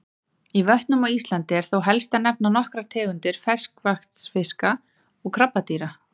Í vötnum á Íslandi er þó helst að nefna nokkrar tegundir ferskvatnsfiska og krabbadýra.